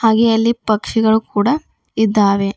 ಹಾಗೆ ಅಲ್ಲಿ ಪಕ್ಷಿಗಳು ಕೂಡ ಇದ್ದಾವೆ.